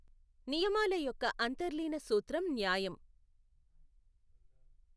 నియమాల యొక్క అంతర్లీన సూత్రం న్యాయం.